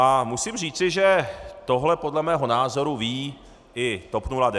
A musím říci, že tohle podle mého názoru ví i TOP 09 a ODS.